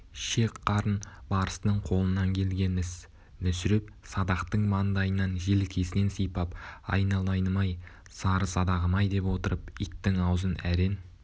шек-қарын барыстың қолынан келген іс мүсіреп садақтың маңдайынан желкесінен сипап айналайыным-ай сары садағым-ай деп отырып иттің аузын әрең